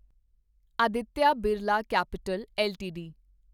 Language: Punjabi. Aditya Birla capital LTD